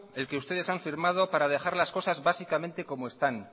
el que ustedes han firmado para dejar las cosas básicamente como están